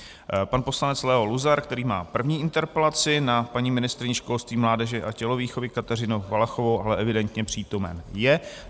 Pan poslanec Leo Luzar, který má první interpelaci na paní ministryni školství, mládeže a tělovýchovy Kateřinu Valachovou, ale evidentně přítomen je.